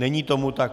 Není tomu tak.